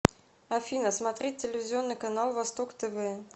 афина смотреть телевизионный канал восток тв